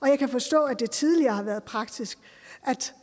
jeg kan forstå at det tidligere har været praksis